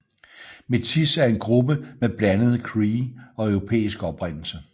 Métis er en gruppe med blandet cree og europæisk oprindelse